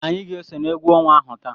Anyị ga-eso n'egwu ọnwa ahụ taa.